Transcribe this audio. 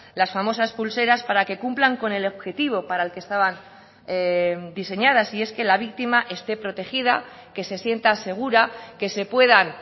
las famosas pulseras para que cumplan con el objetivo para el que estaban diseñadas y es que la víctima esté protegida que se sienta segura que se puedan